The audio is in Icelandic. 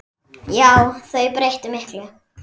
Já, þau breyttu miklu.